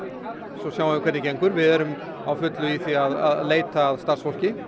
svo sjáum við hvernig það gengur við erum á fullu í því að leita að starfsfólki